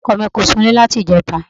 Ọkọ mì kò sunlẹ́ láti ìjẹta.